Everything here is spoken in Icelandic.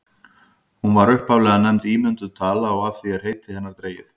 hún var upphaflega nefnd ímynduð tala og af því er heiti hennar dregið